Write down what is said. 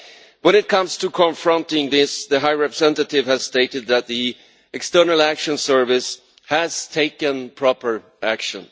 When it comes to confronting this, the High Representative has stated that the External Action Service has taken proper action.